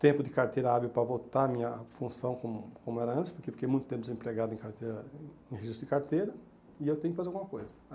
tempo de carteira hábil para voltar a minha função como como era antes, porque fiquei muito tempo desempregado em carteira em registro de carteira e eu tenho que fazer alguma coisa.